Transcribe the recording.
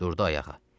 Durdu ayağa.